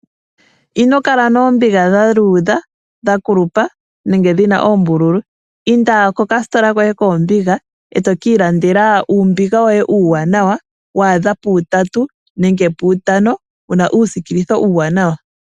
Inokala noombiga dha luudha, dha kulupa, nenge dhi na oombululu. Inda kokasitola koye koombiga eto ka ilandela uumbiga woye uuwanawa, wa adha puutatu nenge puutano wu na uusikilitho uuwanawa.